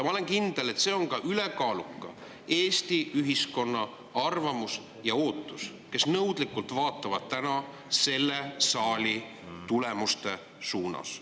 Ma olen kindel, et see on ülekaalukalt ka Eesti ühiskonna arvamus ja ootus, inimesed vaatavad nõudlikult selle saali suunas.